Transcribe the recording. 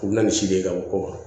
U bɛ na ni si de ye ka bɔ kɔkɔ